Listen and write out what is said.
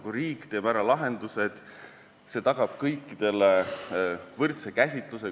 Kui riik teeb ära lahendused, siis see tagab kõikidele võrdse käsitluse.